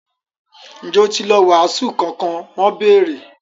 Ǹjẹ́ ó ti lọ “wàásù” kankan? wọ́n bèèrè.